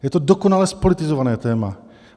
Je to dokonale zpolitizované téma.